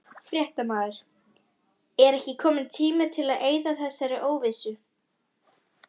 Fréttamaður: Er ekki kominn tími til að eyða þessari óvissu?